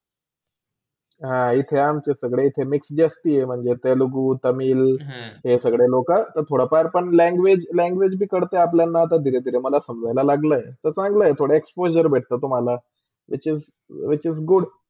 अ इथे अमचे सगळे इथे mix जसतां म्हणजे तेलुगु, तमिळ हे सगळे लोका थोडा फार पण language language काळते अपल्याला धीरे -धीरे मला समजाया लागला आहे तर थोडा explosure भेटते तुम्हाला which is which is good